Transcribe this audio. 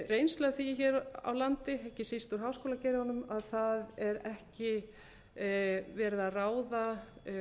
reynslu af því hér á landi ekki síst úr háskólageiranum að ekki er verið að ráða